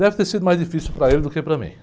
Deve ter sido mais difícil para ele do que para mim.